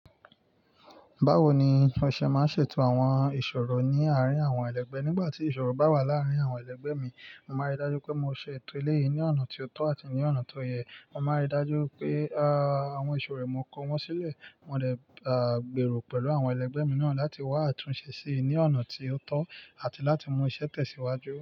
Báwo ni ọṣẹ máa ń ṣètò àwọn ìṣòro ní àárín àwọn ẹlẹgbẹ́? Nígbà tí ìṣòro bá wà láàárín àwọn ẹlẹgbẹ́ mi, mo máa rí dájú pé mo ṣe ètò elé yìí ní ọ̀nà tí ó tọ́ àti ní ọ̀nà tó yẹ. Mo máa rí dájú pé, à, àwọn ìṣòro è mo kò wọ́n sílẹ̀. Mo dè, à, gbèrò pẹ̀lú àwọn ẹlẹgbẹ́ mi náà láti wá àtúnṣe sí ní ọ̀nà tí ó tọ́ àti láti mú iṣẹ́ tẹ̀síwájú.